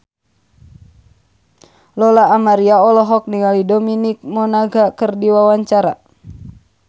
Lola Amaria olohok ningali Dominic Monaghan keur diwawancara